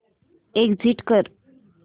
exit कर